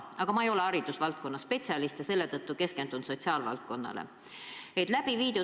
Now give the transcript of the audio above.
Aga ma ei ole haridusvaldkonna spetsialist ja seetõttu keskendun sotsiaalvaldkonnale.